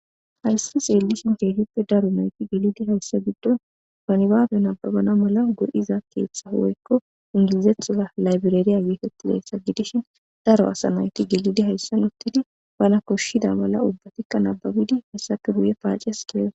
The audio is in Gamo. Hayssi seellishin keehippe daro nayti gelidi hayssa giddon nibaabe nababana mala go'etiza keeththa woykko ingilizethora laybireri geetetizayssa gidishin, daro asa nayti gelidi hayssan uttidi bana koshshida mala ubbatikka nababidi hessappe guye paaces giigo.